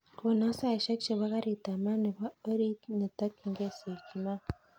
Konon saishek chepo karit ap maat nepo orit netokyinge syokimau